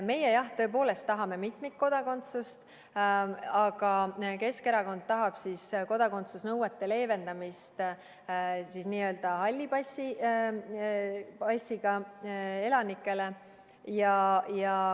Meie, jah, tõepoolest tahame mitmikkodakondsust, aga Keskerakond tahaks kodakondsusnõuete leevendamist halli passiga elanikele.